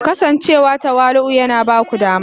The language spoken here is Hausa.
Kasancewa tawali'u yana ba ku dama